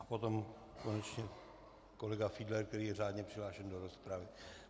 A potom konečně kolega Fiedler, který je řádně přihlášen do rozpravy.